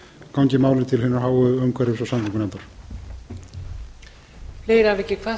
gangi málið til hinnar háu umhverfis og samgöngunefndar